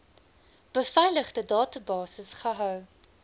beveiligde databasis gehou